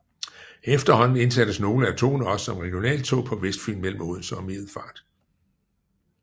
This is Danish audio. Efterhånden indsattes nogle af togene også som regionaltog på Vestfyn mellem Odense og Middelfart